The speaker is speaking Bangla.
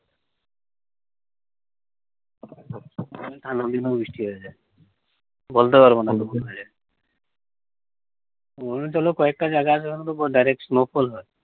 ওখানে ঠান্ডার দিনও বৃষ্টি হয়ে যায় বলতে পারবানা কখন হয়ে যায়। অরুনাচলেও কয়েকটা জায়গা আছে ওখানে তো direct snowfall হয়।